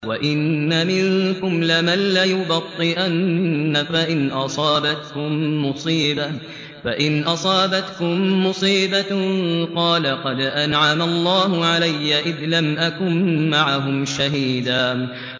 وَإِنَّ مِنكُمْ لَمَن لَّيُبَطِّئَنَّ فَإِنْ أَصَابَتْكُم مُّصِيبَةٌ قَالَ قَدْ أَنْعَمَ اللَّهُ عَلَيَّ إِذْ لَمْ أَكُن مَّعَهُمْ شَهِيدًا